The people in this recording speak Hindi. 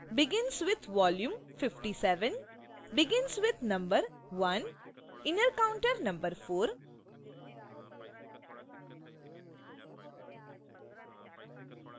begins with: volume = 57